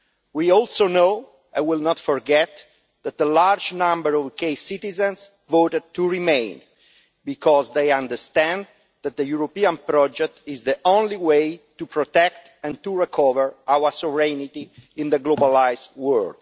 We also know, and will not forget, that a large number of UK citizens voted to remain because they understand that the European project is the only way to protect and to recover our sovereignty in a globalised world.